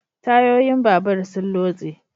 Tayoyin babur sun lotse